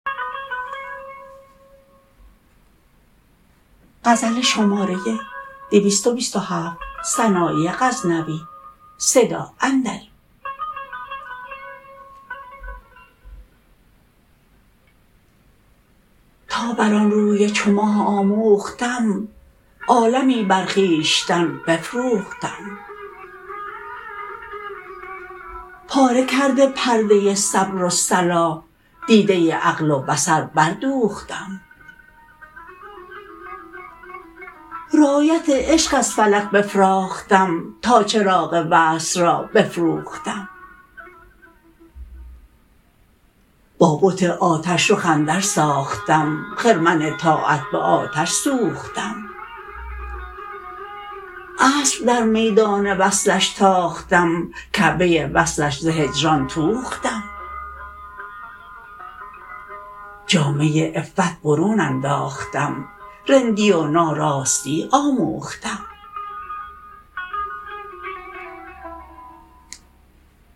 تا بر آن روی چو ماه آموختم عالمی بر خویشتن بفروختم پاره کرده پرده صبر و صلاح دیده عقل و بصر بردوختم رایت عشق از فلک بفراختم تا چراغ وصل را فروختم با بت آتش رخ اندر ساختم خرمن طاعت به آتش سوختم اسب در میدان وصلش تاختم کعبه وصلش ز هجران توختم جامه عفت برون انداختم رندی و ناراستی آموختم